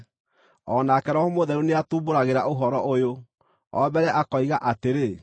O nake Roho Mũtheru nĩatumbũragĩra ũhoro ũyũ. O mbere akoiga atĩrĩ: